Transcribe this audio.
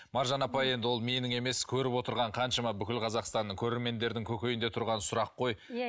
маржан апай енді ол менің емес көріп отырған қаншама бүкіл қазақстанның көрермендердің көкейінде тұрған сұрақ қой иә